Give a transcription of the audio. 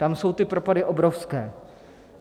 Tam jsou ty propady obrovské.